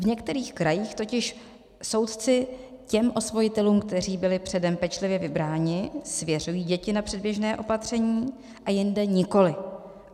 V některých krajích totiž soudci těm osvojitelům, kteří byli předem pečlivě vybráni, svěřují děti na předběžné opatření a jinde nikoli.